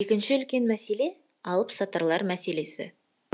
екінші үлкен мәселе алыпсатарлар мәселесі